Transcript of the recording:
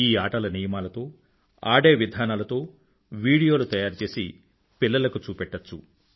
ఈ ఆటల నియమాలతో ఆడే విధానాలతో వీడియోలు తయారు చేసి పిల్లలకు చూపెట్టచ్చు